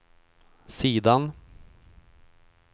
sidan